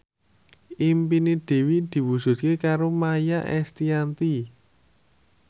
impine Dewi diwujudke karo Maia Estianty